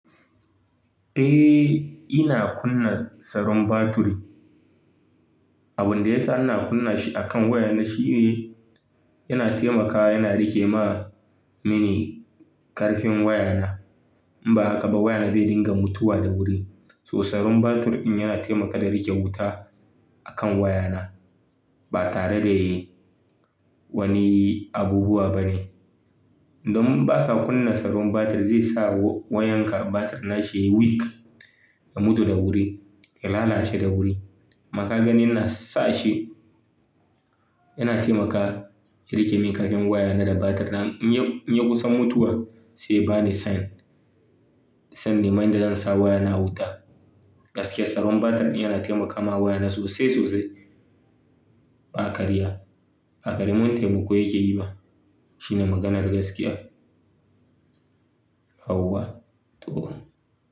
Eh, ina kunna tsaron baturi. Abin da yasa ina kunna shi akan wayana shine yana taimaka yana riƙe ma mini karfin wayana. In ba haka ba wayana zai dinga mutuwa da wuri. To tsaron batiri ɗin yana taimaka da riƙe wuta akan wayana ba tare da wani abubuwa bane. Don ba ka kunna tsaron batir zai sa wayanka batir nashi ya weak ya mutu da wuri, ya lalace da wuri. Daka ganin na sa shi, yana taimaka ya riƙe min ƙarfin wayana da batir din in ya kusan mutuwa sai bani sign san in nima inda zansa wayana a wuta. Gaskiya tsaron batir ɗin yana taimakawa wayana sosai sosai ba karya. Baƙarimin taimako yake yi ba. Shine maganar gaskiya. Hauwa Tu'u.